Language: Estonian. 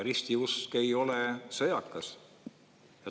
Ristiusk ei ole sõjakas.